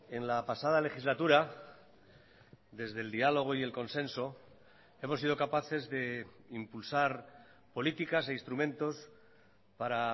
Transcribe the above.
en la pasada legislatura desde el diálogo y el consenso hemos sido capaces de impulsar políticas e instrumentos para